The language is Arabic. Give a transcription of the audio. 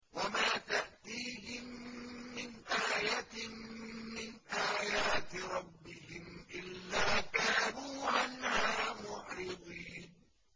وَمَا تَأْتِيهِم مِّنْ آيَةٍ مِّنْ آيَاتِ رَبِّهِمْ إِلَّا كَانُوا عَنْهَا مُعْرِضِينَ